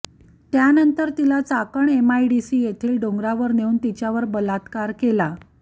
त्यानंतर तिला चाकण एमआयडीसी येथील डोंगरावरुन नेऊन तिच्यावर बलात्कार केला